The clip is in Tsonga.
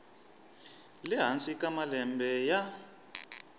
le hansi ka malembe ya